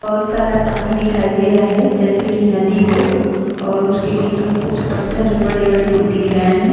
बहुत सारा पानी दिखाई दे रहा हैं जैसे की नदी हो और उसके बिच में कुछ पत्थर भी बड़े-बड़े दिख रहे हैं ।